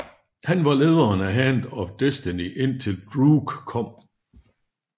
Han var lederen af Hand Of Destiny indtil Droog kom